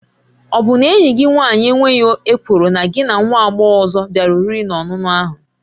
Ọ bụ na enyi gị nwaanyị enweghị ekworo na gị na nwa agbọghọ ọzọ bịara oriri na ọṅụṅụ ahụ?